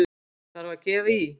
Þarf að gefa í!